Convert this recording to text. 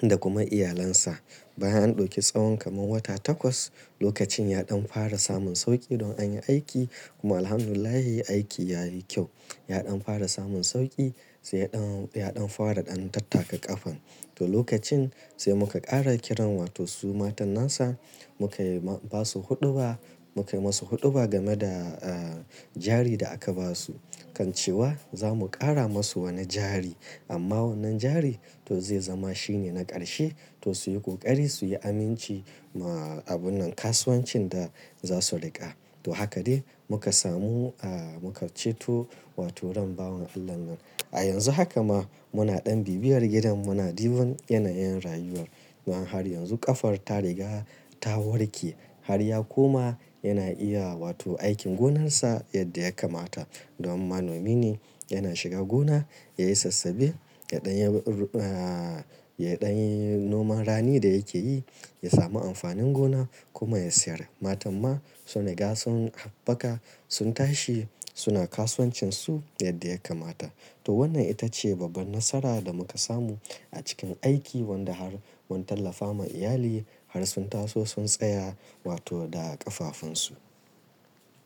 da kuma iyalansa. Bayan an ɗauki tsawon kamar wata takwas lokacin ya ɗan fara samun sauƙi don an yi aiki kuma Alhamdulillah aiki yayi kyau. Ya ɗan fara samun sauƙi sai ya ɗan, ya ɗan fara ɗan tattaka ƙafan. To lokacin sai muka ƙara kiran wato su matanansa muka yi ma, ba su huɗuba muka yi musu huɗuba game da a jari da aka ba su kan cewa za mu ƙara musu wani jari amma wannan jari to zai zama shine na ƙarshe to su yi ƙoƙari su yi aminci ma abun nan kasuwancin da za su riƙa. To haka dai muka samu a muka ceto wato ran bawan Allah nan. A yanzu haka ma muna ɗan bibiyar gidan muna duban yanayin rayuwar. Wannan har yanzu ƙafar ta riga ta warke har ya koma yana iya wato aikin gonarsa yadda ya kamata domin manomi ne yana shiga gona ya yi sassabe ya ɗan ya ru a, ya ɗan yi noman rani da yake yi ya sami amfanin gona kuma ya sayar. Matan ma sun riga sun haɓaka sun tashi suna kasuwancin su yadda ya kamata. To wannan ita ce babban nasara da muka samu a cikin aiki wadda har mun tallafa ma iyali har sun taso sun tsaya wato da ƙafafunsu.